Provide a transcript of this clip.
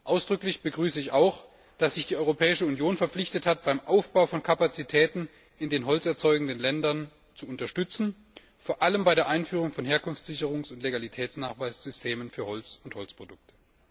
Ausdrücklich begrüße ich auch, dass sich die Europäische Union verpflichtet hat, beim Aufbau von Kapazitäten in den holzerzeugenden Ländern Unterstützung zu leisten, vor allem bei der Einführung von Herkunftssicherungs und Legalitätsnachweissystemen für Holz und Holzprodukte.